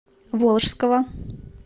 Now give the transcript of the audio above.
волжского